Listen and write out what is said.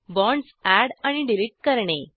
bonds add आणि delete करणे